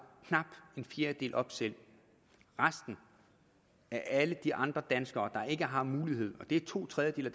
knap en fjerdedel op selv resten er alle de andre danskere der ikke har muligheden og det er to tredjedele